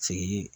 Sigi